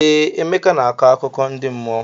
Ee, Emeka na-akọ akụkọ ndi mmụọ.